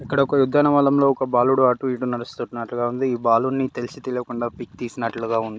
ఇక్కడ ఒక ఉద్యానవనంలో ఒక బాలుడు అటు ఇటు నడుస్తున్నట్లుగా ఉంది. ఈ బాలుడ్ని తెలిసి తెలవకుండా పిక్ తీసినట్లుగా ఉంది.